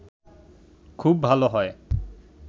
খুব ভালো হয়